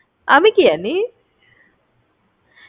আমি কি জানি!